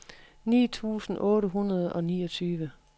ni tusind otte hundrede og niogtyve